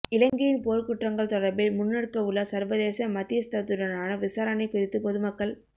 இலங்கையின் போர்க்குற்றங்கள் தொடர்பில் முன்னெடுக்கவுள்ள சர்வதேச மத்தியஸ்தத்துடனான விசாரணை குறித்து பொதுமக்கள்